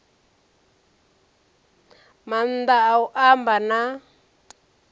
maanḓa a u amba na